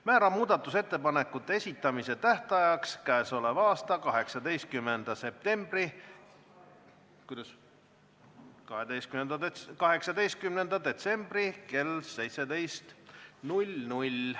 Määran muudatusettepanekute esitamise tähtajaks 18. detsembri kell 17.